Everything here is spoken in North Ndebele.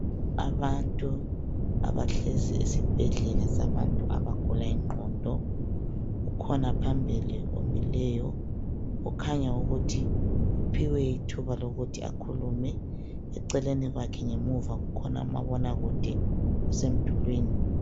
Abantu abahlezi esibhedlela sabantu abagula ingqondo. Ukhona phambili omileyo okhanya ukuthi uphiwe ithuba lokuthi akhulume, eceleni kwakhe ngemuva ukhona umabonakude usemdulwini.